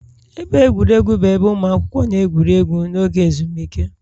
Ebe egwuregwu bụ ebe ụmụ akwụkwọ na-egwuri egwu n'oge ezumike